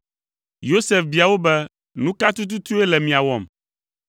Yosef bia wo be, “Nu ka tututue le mia wɔm?”